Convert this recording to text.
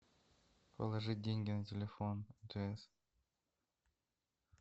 положить деньги на телефон мтс